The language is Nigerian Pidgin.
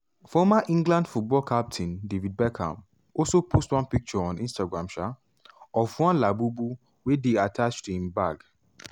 former england football captain david beckham also post one photo on instagram um of one labubu wey dey attached to im bag.